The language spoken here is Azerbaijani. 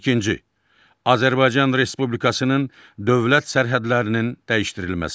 İkinci, Azərbaycan Respublikasının dövlət sərhədlərinin dəyişdirilməsi.